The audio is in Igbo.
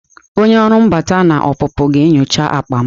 Onye ọrụ mbata na ọpụpụ ga-enyocha akpa m.